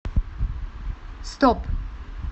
стоп